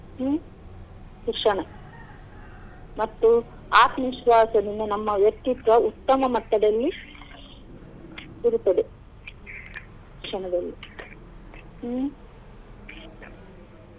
ಹ್ಮ್‌ ಶಿಕ್ಷಣ ಮತ್ತು ಆತ್ಮವಿಶ್ವಾಸದಿಂದ ನಮ್ಮ ವ್ಯಕ್ತಿತ್ವ ಉತ್ತಮ ಮಟ್ಟದಲ್ಲಿ ಇರುತ್ತದೆ ಶಿಕ್ಷಣದಲ್ಲಿ ಹ್ಮ್‌